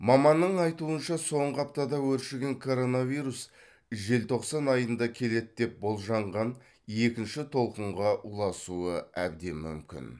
маманның айтуынша соңғы аптада өршіген коронавирус желтоқсан айында келеді деп болжанған екінші толқынға ұласуы әбден мүмкін